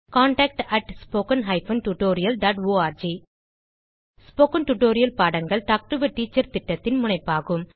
contact at spoken hyphen tutorial dot org spoken tutorial பாடங்கள் talk to a teacher திட்டத்தின் முனைப்பாகும்